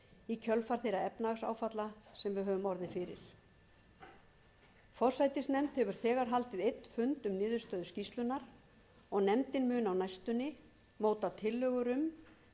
í kjölfar þeirra efnahagsáfalla sem við höfum orðið fyrir forsætisnefnd hefur þegar haldið einn fund um niðurstöður skýrslunnar og nefndin mun á næstunni móta tillögur um hvernig heppilegast verði að vinna úr þessum